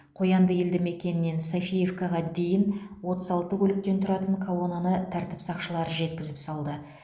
қоянды елді мекенінен софиевкаға дейін отыз алты көліктен тұратын колонаны тәртіп сақшылары жеткізіп салды